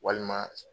Walima